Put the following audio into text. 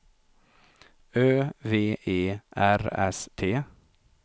Ö V E R S T